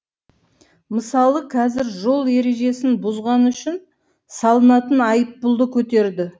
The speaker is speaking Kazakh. мысалы қазір жол ережесін бұзғаны үшін салынатын айыппұлды көтерді